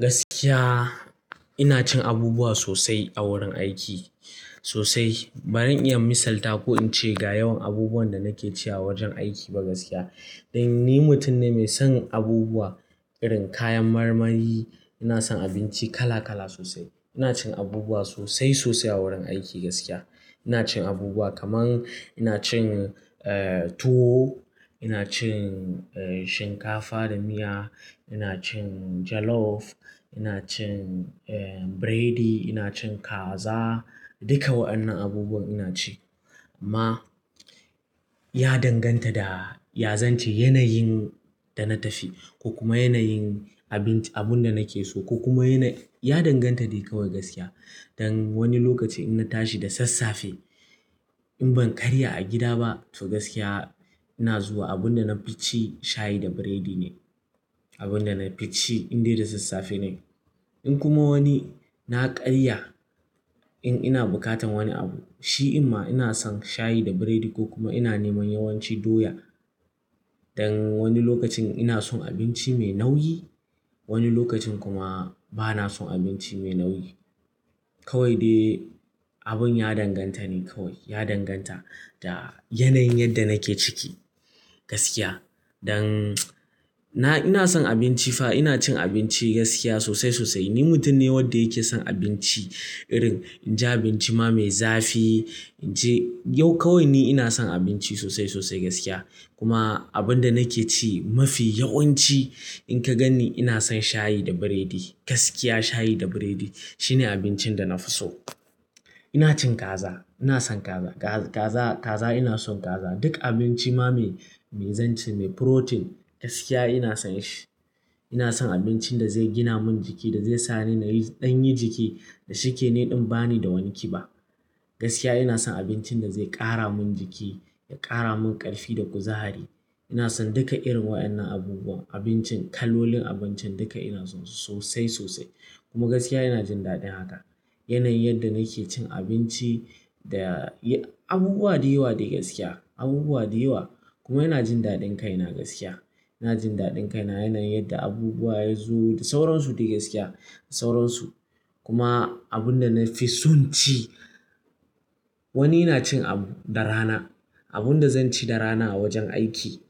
Gaskiya, ina cin abubuwa sosai a wurin aiki sosai. Ba zan iya misalta ko in ce ga yawan abubuwan da nake ci a wajen aiki ba gaskiya. Dan ni mutum ne mai son abubuwa, irin kayan marmari. Ina son abinci kala kala sosai. Ina cin abubuwa sosai sosai a wurin aiki gaskiya. Ina cin abubuwa kamar ina cin, eh, tuwo, ina cin, eh, shinkafa da miya, ina cin jollof, ina cin, eh, biredi, ina cin kaza. Duka wa'annan abubuwa ina ci amma ya danganta da, ya zance yanayin da na tafi ko kuma yanayin abinci abun da nake so ko kuma yana-- ya danganta dai kawai gaskiya. Dan wani lokaci in na tashi da sassafe in ban karya a gida ba, to gaskiya ina zuwa abun da na fi ci shayi da biredi ne. Abun da na fi ci in dai da sassafe ne. In kuma wani na karya in ina bukatar wani abu, shi amma ina son shayi da biredi ko kuma ina neman yawanci doya. Dan wani lokacin ina son abinci mai nauyi, wani lokacin kuma ba na son abinci mai nauyi. Kawai dai abun ya danganta ne kawai. Ya danganta da yanayin yadda nake ciki gaskiya. Dan na-- ina son abinci fa ina cin abinci gaskiya sosai sosai. Ni mutum ne wanda yake son abinci irin in ji abinci ma mai zafi, in ji yau kawai ni ina son abinci sosai sosai gaskiya. Kuma abun da nake ci mafi yawanci in ka gani ina son shayi da biredi gaskiya. Shayi da biredi shine abincin da na fi so. Ina cin kaza, ina son kaza. Kaza, kaza ina son kaza. Duk abinci ma mai, mai zance mai protain gaskiya ina son shi. Ina son abincin da zai gina mun jiki da zai sa ni na ɗan yi jiki da shike niɗin ba ni da wani kiba. Gaskiya ina son abincin da zai ƙara mun jiki, ya ƙara mun ƙarfi da kuzari. Ina son duka irin wa'annan abubuwa. Abincin, kalolin abincin duka ina son su sosai sosai kuma gaskiya ina jin daɗin haka. Yanayin yadda nake cin abinci da abubuwa da yawa dai gaskiya abubuwa da yawa kuma ina jin daɗin kaina gaskiya. Ina jin daɗin kaina. Yanayin yadda abubuwa yazo da sauran su dai gaskiya da sauran su. Kuma abun da na fi son ci, wani ina cin abu da rana. Abun da zan ci da rana a wajen aiki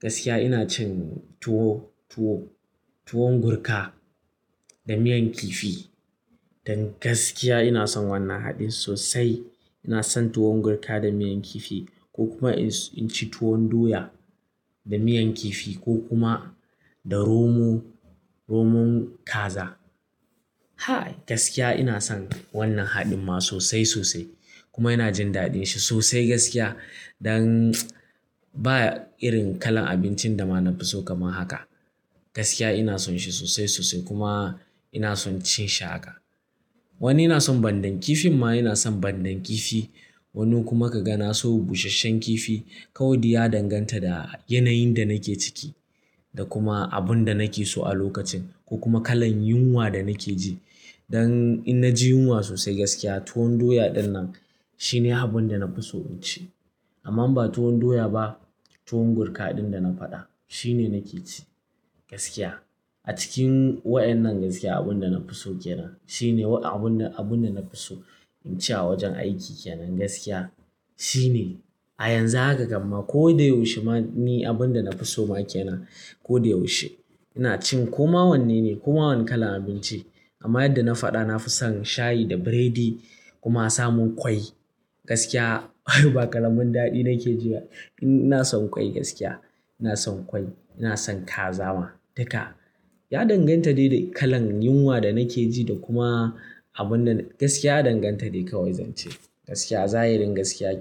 gaskiya ina cin tuwo, tuwo, tuwon gurka da miyan kifi. Dan gaskiya ina son wannan haɗin sosai. Ina son tuwon gurka da miyan kifi ko kuma in ci tuwon doya da miyan kifi ko kuma da romo, romon kaza. Ha! Gaskiya ina son wannan haɗin ma sosai sosai kuma ina jin daɗin shi sosai gaskiya. Dan ba irin kalan abincin da ma na fi so kamar haka gaskiya ina son shi sosai sosai kuma ina son cin shi haka. Wani ina son ɓandan kifin ma ina son ɓandan kifi. Wani kuma ka ga na so busasshen kifi. Kawai dai ya danganta da yanayin da nake ciki da kuma abun da nake so a lokacin ko kuma kalan yunwa da nake ji. Dan in na ji yunwa sosai gaskiya tuwon doya ɗinnan shine abun da na fi so in ci. Amma ba tuwon doya ba, tuwon gurka ɗin da na faɗa shine nake ci gaskiya. A cikin wa'annan gaskiya abun da na fi so ke nan. Shine abun, abun da na fi so in ci a wajen aiki ke nan gaskiya. Shine a yanzu haka gama ko da yaushe ma ni abun da na fi so ma ke nan. Ko da yaushe ina cin ko ma wannan ne ko ma wani kalan abinci. Amma yadda na faɗa na fi son shayi da biredi kuma samun ƙwai gaskiya. Ay ba karamin daɗi nake ji. Ina son ƙwai gaskiya ina son ƙwai, ina son kaza ma duka. Ya danganta dai da kalan yunwa da nake ji da kuma abun da-- gaskiya danganta dai kawai zance gaskiya. Zayirin gaskiya ke.